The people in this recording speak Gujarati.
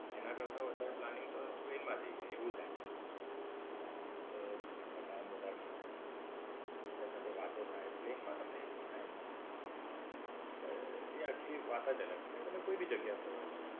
તેના કરતા વધારે planning તો પણ ટ્રેન માં થાય જાય. એવું થાય પછી. એટલે લોકો ને ટાઈમ વધારે મળે, એકબીજા સાથે વાતો થાય. પ્લેન માં તમને એ બધો ટાઈમ ના મળે. એટલે એ આખી વાત જ અલગ છે. તમે કોઈ ભી જગ્યાએ ફરવા જાઓ.